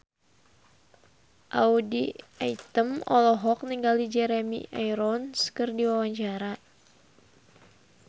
Audy Item olohok ningali Jeremy Irons keur diwawancara